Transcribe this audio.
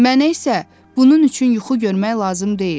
Mənə isə bunun üçün yuxu görmək lazım deyil.